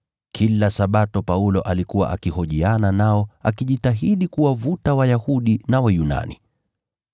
Kila Sabato Paulo alikuwa akihojiana nao katika sinagogi, akijitahidi kuwashawishi Wayahudi na Wayunani.